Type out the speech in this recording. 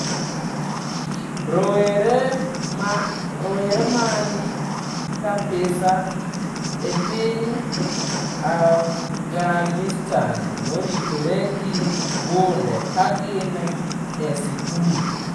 Rowere man Kapisa, e piny Afghanistan moritore gi bunde ka gin e sikul